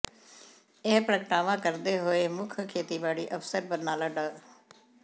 ਇਹ ਪ੍ਰਗਟਾਵਾ ਕਰਦੇ ਹੋਏ ਮੁੱੱਖ ਖੇਤੀਬਾੜੀ ਅਫਸਰ ਬਰਨਾਲਾ ਡਾ